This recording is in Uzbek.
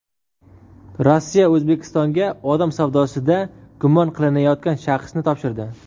Rossiya O‘zbekistonga odam savdosida gumon qilinayotgan shaxsni topshirdi.